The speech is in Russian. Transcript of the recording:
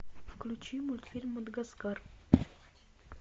включи мультфильм мадагаскар